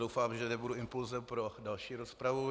Doufám, že nebudu impulsem pro další rozpravu.